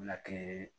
Lakiri